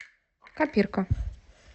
копирка